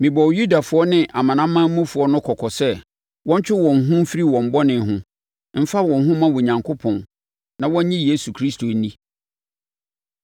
Mebɔɔ Yudafoɔ ne amanamanmufoɔ no kɔkɔ sɛ wɔntwe wɔn ho mfiri wɔn bɔne ho, mfa wɔn ho mma Onyankopɔn, na wɔnnye Yesu Kristo nni.